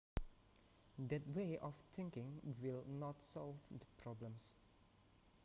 That way of thinking will not solve the problem